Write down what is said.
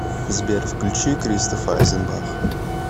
сбер включи кристоф айзенбах